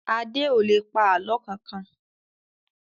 Adé ò lè pa àlọ́ kankan